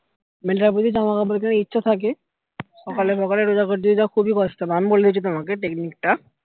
মানে যদি জামা কাপড় কেনার ইচ্ছা থাকে সকালে সকালে রোজা করে দিয়ে যাওয়া খুবই কষ্ট হবে আমি বলে দিচ্ছি তোমাকে technique টা